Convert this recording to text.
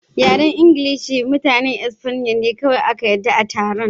Yaren Ingilishi da Mutanen Espanya ne kawai aka yarda a taron.